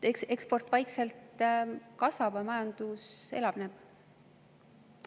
Eksport vaikselt kasvab ja majandus elavneb.